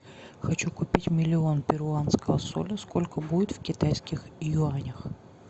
хочу купить миллион перуанского соля сколько будет в китайских юанях